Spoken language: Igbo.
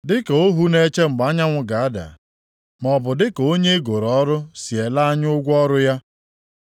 Dịka ọhụ na-eche mgbe anyanwụ ga-ada, maọbụ dịka onye e goro ọrụ si ele anya ụgwọ ọrụ ya,